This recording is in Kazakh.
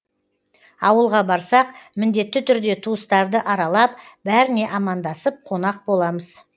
ауылға барсақ міндетті түрде туыстарды аралап бәріне амандасып қонақ боламыз